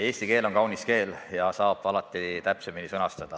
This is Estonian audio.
Eesti keel on kaunis keel ja öeldut saab alati täpsemini sõnastada.